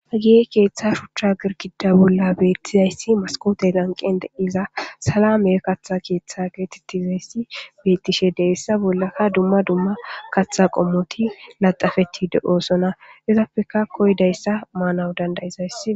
Hagiye keeththa shuchcha girkida bolla beettizayssi maskoote lanqen deiza salame katha keeththa geetettizayssi beettishe deessa bollaka dumma dumma kaththa qommoti laxafeti de7oosona izappeka koydayssa maanaw dandayizayss.